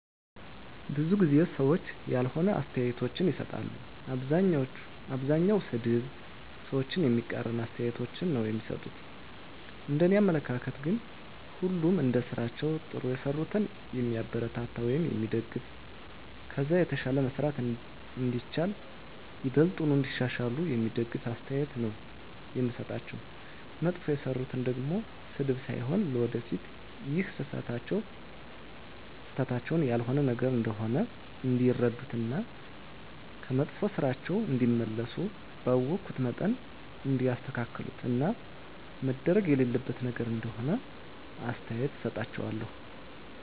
ብዙ ጊዜ ሰዎች ያልሆነ አስተያየቶችን ይሰጣሉ። አብዛኛዉ ሰድብ፣ ሰዎችን የሚቃረን አስተያየቶች ነዉ እሚሰጡት፤ እንደኔ አመለካከት ግን ሁሉንም እንደስራቸዉ ጥሩ የሰሩትን የሚያበረታታ ወይም የሚደገፍ ከዛ የተሻለ መስራት እንደሚቻል፣ ይበልጥኑ እንዲያሻሽሉ የሚደግፍ አስተያየት ነዉ የምሰጣቸዉ፣ መጥፎ የሰሩትን ደሞ ስድብ ሳይሆን ለወደፊት ይሀን ስህተታቸዉን ያልሆነ ነገር እንደሆነ እንዲረዱት እና ከመጥፋ ስራቸዉ እንዲመለሱ ባወኩት መጠን እንዲያስተካክሉት እና መደረግ የሌለበት ነገር እንደሆነ አስተያየት እሰጣቸዋለሁ።